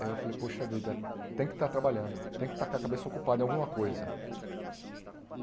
Aí eu falei, poxa vida, tem que estar trabalhando, tem que estar com a cabeça ocupada em alguma coisa.